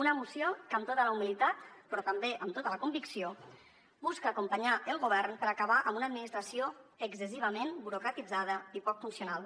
una moció que amb tota la humilitat però també amb tota la convicció busca acompanyar el govern per acabar amb una administració excessivament burocratitzada i poc funcional